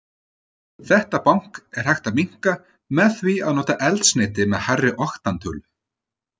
Þetta bank er hægt að minnka með því að nota eldsneyti með hærri oktantölu.